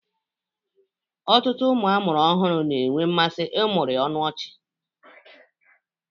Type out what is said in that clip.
Ọtụtụ ụmụ amụrụ ọhụrụ na-enwe mmasị ịmụrị ọnụ ọchị